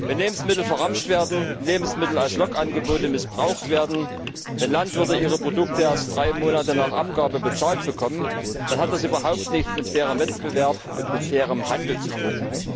Wenn Lebensmittel verramscht werden, wenn Lebensmittel als Lockangebote missbraucht werden, wenn Landwirte ihre Produkte erst drei Monate nach Abgabe bezahlt bekommen, dann hat das überhaupt nichts mit fairem Wettbewerb und mit fairem Handel zu tun!